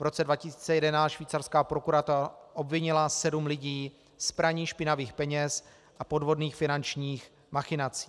V roce 2011 švýcarská prokuratura obvinila sedm lidí z praní špinavých peněz a podvodných finančních machinací.